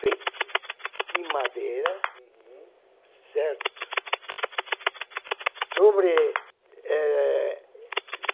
Feito de madeira, uhum, certo. Sobre eh...